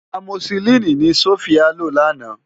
Ámósilini ni Sofia ló làná